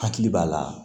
Hakili b'a la